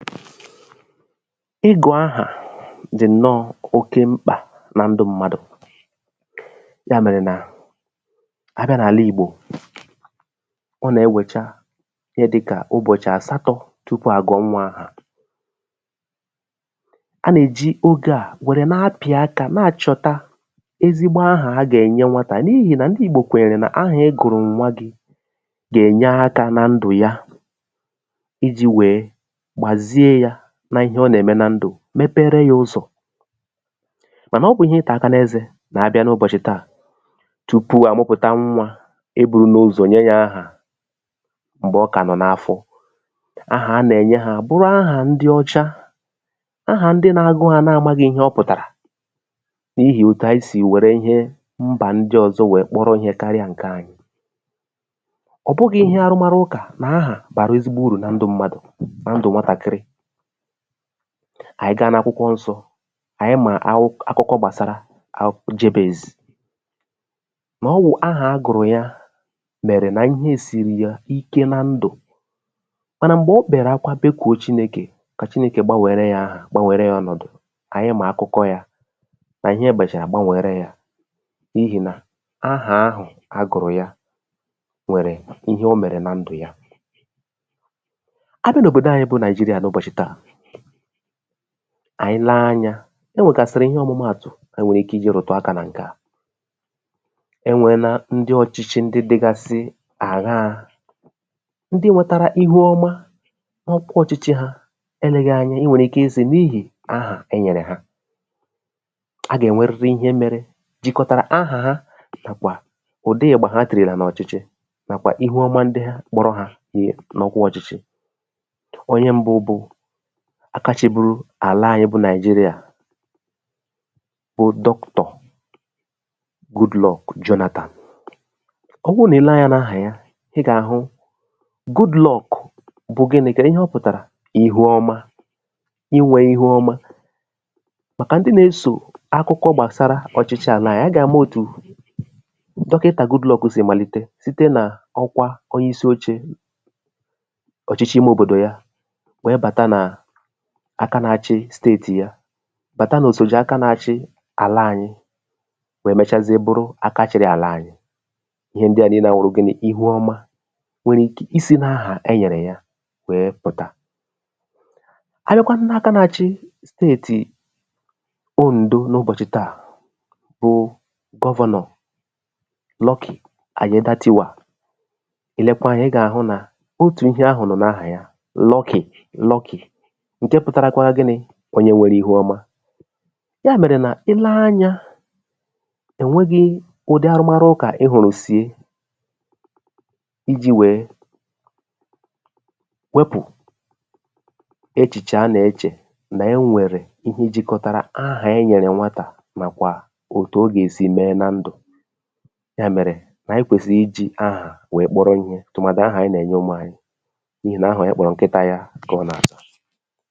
ịgụ̀ ahà dì ǹnọ oke mkpà na ndū mmadụ̀ ya mèrè nà abịa n’àla ìgbò ọ nà-enwèta ihe dịkà ụbọ̀chị asātọ tupu àgọọ nnwā ahà a nà-èji ogē a nwere na-apị̀ akā na-àchọta ezīgbo ahà a gà-ènye nwatà n’ihì nà ndị ìgbò kwèrè na ahà ị gụ̀rụ̀ nnwa gī gà-ènye akā na ndù ya ijī wee gbàzie yā n’ihe ọ nà-ème na ndù mepere ya ụzọ̀ mànà ọ bụ̀ ihe ịtà aka n’ezē mà abịa n’ụbọ̀chị̀ taa tupu à mụpụ̀ta nnwā ebūla ụzọ̀ nye yā ahà m̀gbè ọ kà nọ̀ n’afọ ahà a nà-ènye ha bụrụ ahà ndị ọcha ahà ndị nā-agụ̄ ha na-amāghị ihe ọ pụ̀tàrà n’ihì òtu anyị sì wère ihe mbà ndị ọ̀zọ wee kpọrọ ihe karịa ǹke anyị̀ ọ̀ bụghị̄ ihe arụmarụ ụkà nà ahà bàrà ezugbo urù nan du mmadụ̀ ndù nwatàkịrị ànyị gaa n’akwụkwọ nsọ̄ ànyị mà akụ akụkọ gbàsara akụkọ jabez nà ọ wụ̀ ahà a gụ̀rụ̀ ya mèrè nà ihe sìrì ya ike na ndù mànà m̀gbè ọ kpère akwa kpekuo chinekè si chinekè gbanwere ya ahà gbanwere ya ọnọ̀dụ̀ ànyị mà akụkọ yā nà ihe mèchàrà gbanwere ya n’ihì nà ahà ahụ̀ a gụ̀rụ̀ ya nwèrè nwèrè ihe o mèrè na ndù ya abịa n’òbòdò anyị̄ bụ nàịjirịa n’ụbọ̀chị taa ànyị lee anyā o nwèkàsị̀rị̀ ihe ọ̀mụmatụ̀ e nwèrè ike iwēbàta aka na ǹke a e nweela ndị ọ̀chịchị ndị dịgasị àṅa ndị nwetara ihu ọma n’ọkwa ọ̀chịchị ha elēghi anya i nwèrè ike isī n’ihì ahà e nyèrè gi a gà-ènweriri ihe mere jịkọtara ahà ha bụ̀kwà ụdị ị̀gbà ha tìrìla n’ọ̀chịchị nàkwà ihu ọma ndị kpọrọ hā wee n’ọkwa ọ̀chịchị onye mbu bụ aka chị̄buru àla anyị̄ bụ nàịjirịà bụ doctor Goodluck Jonathan ọ bụrụ nà ilee anyā n’ahà ya ị gà-àhụ Goodluck bụ̀ ginī kèdu ihe ọ pụ̀tàrà ihi ọma inwē ihu ọma màkà ndị na-esò akụkọ̀ gbàsara ọ̀chịchị àla anyị agà-àma òtù dọkịntà Goodluck sì màlite site nà ọkwa onye isi ochē ọ̀chịchị ime òbòdò ya wee bàta nà aka na-achị state ya bàtà nà òsòje aka na-achị àla ànyị wee mechazie buru aka chịrị àla ànyị ihe ndịa niilē à wụrụ ginī ihu ọma nwere ike isi n’ahà e nyèrè ya wee pụ̀ta abịakwanụ n’aka na-achị state ondo n’ụbọ̀chị̀ taa bụ governor Lucky Alaobatiwa i leekwa anyā ị gà-àhụ nà otù ihe ahụ̀ nọ̀ n’ahà ya lucky lucky ǹke pụtakwara ginī onye nwere ihu ọma ya mèrè nà ilee anyā ò nweghī ụdị arụmarụ ị hụ̀rụ̀ si ijī wee wepù echìchè a nà-echè nà-enwèrè ihu jikọtara ahà e nyèrè nwatà nàkwà òtù ọ gà-èsi mee na ndù ya mèrè ànyị kwèsìrì ijī ahà wee kpọrọ ihē tùmàdị ahà ànyị nà-ènye umu anyị n’ihì nà ahà onye kpọ̀rọ̀ nkịta yā kà ọ nà-àza